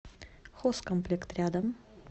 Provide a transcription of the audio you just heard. хозкомплект рядом